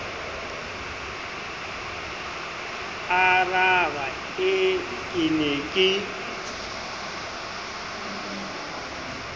aaraba ee ke ne ke